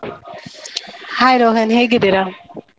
Hai Rohan ಹೇಗಿದ್ದೀರಾ?